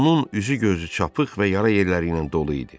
Onun üzü-gözü çapıq və yara yerləri ilə dolu idi.